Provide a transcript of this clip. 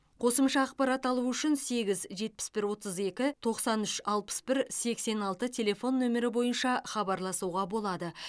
қосымша ақпарат алу үшін сегіз жетпіс бір отыз екі тоқсан үш алпыс бір сексен алты телефон нөмірі бойынша хабарласуға болады